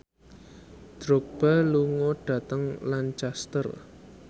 Drogba lunga dhateng Lancaster